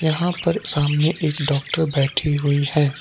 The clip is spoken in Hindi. यहां पर सामने एक डॉक्टर बैठी हुई है।